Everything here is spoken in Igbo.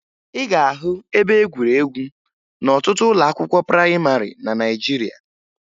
Ị ga-ahụ ebe egwuregwu n'ọtụtụ ụlọakwụkwọ prayịmarị na Naịjirịa